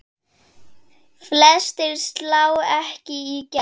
Flestir slá ekki í gegn.